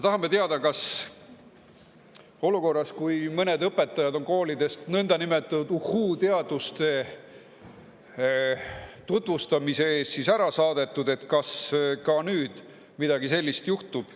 Tahame ka teada, kas olukorras, kus mõned õpetajad on koolidest nõndanimetatud uhhuu-teaduste tutvustamise eest ära saadetud, ka nüüd midagi sellist juhtub.